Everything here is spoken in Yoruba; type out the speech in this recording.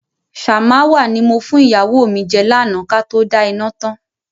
"ṣàmáwà" ni mo fún ìyàwó mi jẹ́ lànà Kato da iná tán.